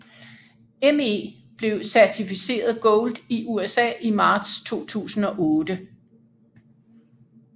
Me blev certificeret Gold i USA i marts 2008